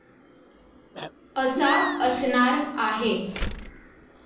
असा असणार आहे.